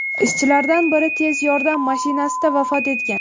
Ishchilardan biri tez yordam mashinasida vafot etgan.